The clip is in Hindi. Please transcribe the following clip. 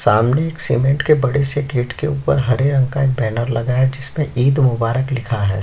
सामने एक सीमेंट के बड़े से गेट के ऊपर हरे रंग का एक बैनर लगा है जिसपे ईद मुबारक लिखा है।